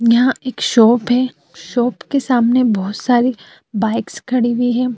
यहाँ एक शॉप है। शॉप के सामने बहोत सारी बाइक्स ख़डी हुई हैं।